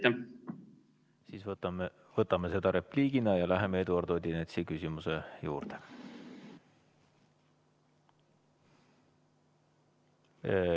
Käsitleme seda repliigina ja läheme Eduard Odinetsi küsimuse juurde.